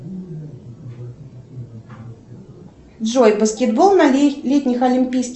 джой баскетбол на летних олимпийских